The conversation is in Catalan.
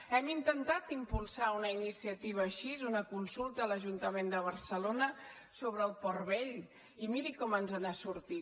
hem intentat impulsar una iniciativa així una consulta a l’ajuntament de barcelona sobre el port vell i miri com ens ha sortit